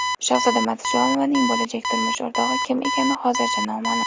Shahzoda Matchonovaning bo‘lajak turmush o‘rtog‘i kim ekani hozircha noma’lum.